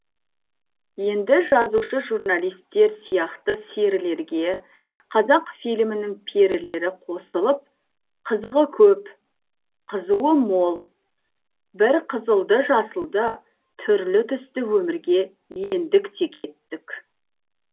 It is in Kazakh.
енді жазушы журналистер сияқты серілерге қазақфильмнің перілері қосылып қызығы көп қызуы мол бір қызылды жасылды түрлі түсті өмірге ендік тек еттік